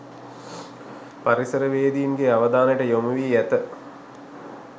පරිසරවේදීන්ගේ අවධානයට යොමු වී ඇත